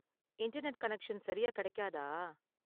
Internet connection சரியா கிடைக்காதா?